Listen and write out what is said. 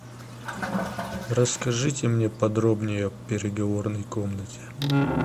расскажите мне подробнее о переговорной комнате